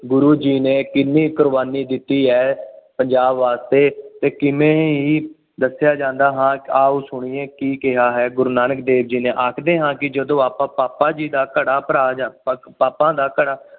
ਗੁਰੂ ਜੀ ਨੇ ਕਿੰਨੀ ਕੁਰਬਾਨੀ ਦਿੱਤੀ ਹੈ। ਪੰਜਾਬ ਵਾਸਤੇ ਕਿ ਕਿਵੇਂ ਹੀ ਦੱਸਿਆ ਜਾਂਦਾ ਹਾਂ ਆਉ ਸੁਣੀਏ, ਕੀ ਕਿਹਾ ਹੈ, ਗੁਰੂ ਨਾਨਕ ਦੇਵ ਜੀ ਨੇ, ਆਖਦੇ ਹਾਂ ਕਿ ਜਦੋਂ ਆਪਾਂ ਬਾਬਾ ਜੀ ਦਾ ਘੜਾ ਭਰਾ ਜਾਦਾ, ਪਾਪਾਂ ਦਾ ਘੜਾ